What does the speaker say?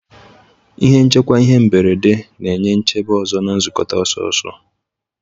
Ihe nchekwa ihe mberede na-enye nchebe ọzọ na nkukota ọsọ-ọsọ.